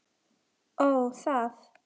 Ó, það.